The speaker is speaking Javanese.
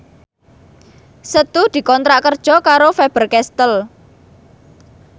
Setu dikontrak kerja karo Faber Castel